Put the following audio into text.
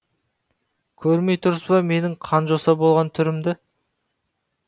көрмей тұрсыз ба менің қанжоса болған түрімді